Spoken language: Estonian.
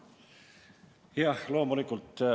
Jah, loomulikult.